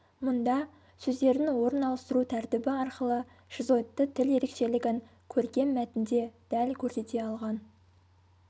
мұнда сөздердің орын ауыстыру тәртібі арқылы шизоидты тіл ерекшелігін көркем мәтінде дәл көрсете алған